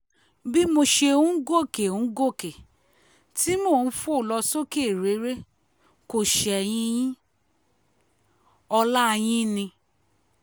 bí mo ṣe ń gòkè ń gòkè tí mò ń fò lọ sókè réré kò ṣẹ̀yìn yin ọlá yín ni